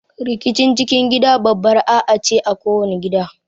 Rikicin cikin gida babbar A'A ce a kowani gida.